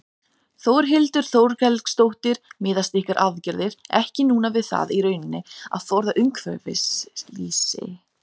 Þórhildur Þorkelsdóttir: Miðast ykkar aðgerðir ekki núna við það í rauninni að forða umhverfisslysi?